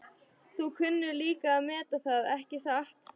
Þú kunnir líka að meta það, ekki satt?